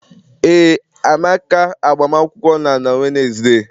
Ee Amaka agbamakwụkwọ na-na Wednesday.